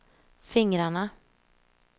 fingrarna